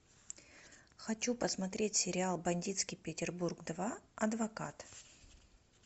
хочу посмотреть сериал бандитский петербург два адвокат